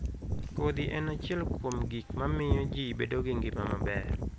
Kodhi en achiel kuom gik mamiyo ji bedo gi ngima maber.